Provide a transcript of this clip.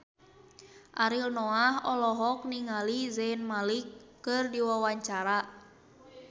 Ariel Noah olohok ningali Zayn Malik keur diwawancara